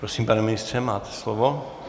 Prosím, pane ministře, máte slovo.